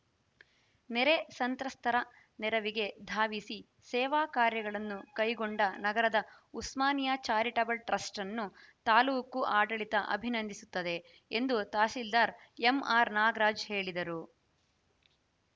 ನೆರೆ ಸಂತ್ರಸ್ತರ ನೆರವಿಗೆ ಧಾವಿಸಿ ಸೇವಾ ಕಾರ್ಯಗಳನ್ನು ಕೈಗೊಂಡ ನಗರದ ಉಸ್ಮಾನಿಯಾ ಚಾರಿಟಬಲ್‌ ಟ್ರಸ್ಟ ಅನ್ನು ತಾಲೂಕು ಆಡಳಿತ ಅಭಿನಂದಿಸುತ್ತದೆ ಎಂದು ತಹಸೀಲ್ದಾರ್‌ ಎಂಆರ್‌ ನಾಗರಾಜ್‌ ಹೇಳಿದರು